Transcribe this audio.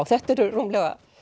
þetta eru rúmlega